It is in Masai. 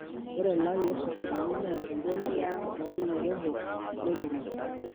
Ore elaii osokonini na engoloto to lairemok lemurua.